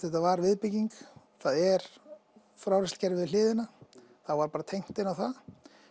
þetta var viðbygging það er frárennslikerfi við hliðina og þá var bara tengt inn á það